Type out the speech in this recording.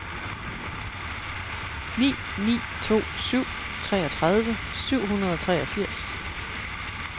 ni ni to syv treogtredive syv hundrede og treogfirs